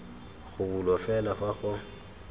go bulwa fela fa go